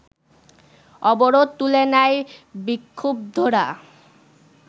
অবরোধ তুলে নেয় বিক্ষুব্ধরা